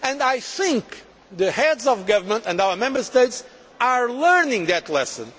I believe the Heads of Government and our Member States are learning that lesson.